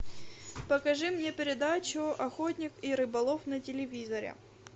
покажи мне передачу охотник и рыболов на телевизоре